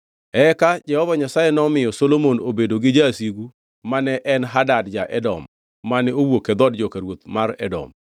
Eka Jehova Nyasaye nomiyo Solomon obedo gi jasigu ma ne en Hadad ja-Edom mane owuok e dhood joka ruoth mar Edom.